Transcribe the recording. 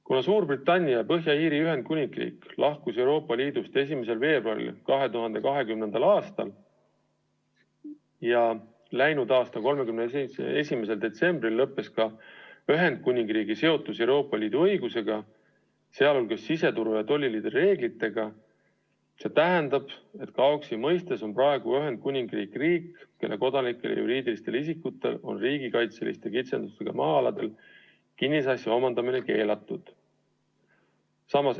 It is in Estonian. Kuna Suurbritannia ja Põhja-Iiri Ühendkuningriik lahkus Euroopa Liidust 1. veebruaril 2020. aastal ja läinud aastal 31. detsembril lõppes ka Ühendkuningriigi seotus Euroopa Liidu õigusega, sh siseturu ja tolliliidu reeglitega, siis KAOKS-i mõistes on Ühendkuningriik riik, kelle kodanikel ja juriidilistel isikutel on riigikaitseliste kitsendustega maa-aladel kinnisasja omandamine keelatud.